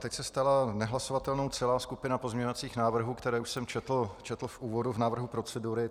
Teď se stala nehlasovatelnou celá skupina pozměňovacích návrhů, které už jsem četl v úvodu, v návrhu procedury.